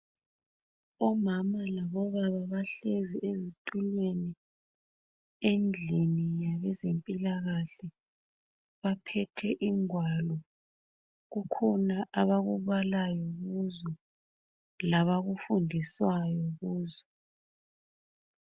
Omama labobaba bahlezi ezitulweni endlini labezempilakahle baphethe igwalo kukhona abakubalayo kuzo labakufundiswayo kuzo